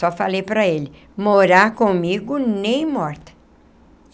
Só falei para ele, morar comigo nem morta.